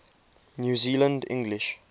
new zealand english